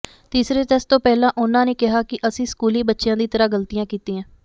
ਤੀਸਰੇ ਟੈਸਟ ਤੋਂ ਪਹਿਲਾ ਉਹਨਾ ਨੇ ਕਿਹਾ ਕਿ ਅਸੀਂ ਸਕੂਲੀ ਬੱਚਿਆ ਦੀ ਤਰ੍ਹਾਂ ਗਲਤੀਆਂ ਕੀਤੀਆ